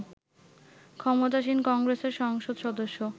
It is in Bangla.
ক্ষমতাসীন কংগ্রেসের সংসদ সদস্য